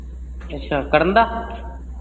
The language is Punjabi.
ਅੱਛਾ, ਕਰਨ ਦਾ